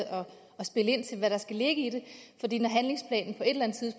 indstille hvad der skal ligge i det